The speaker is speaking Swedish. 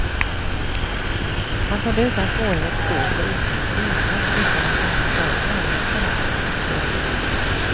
Man kunde utan svårighet stå på ekans reling utan att den ens var i närheten av att slå runt.